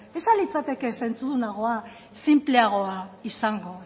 ez al litzateke zentzudunagoa sinpleagoa izango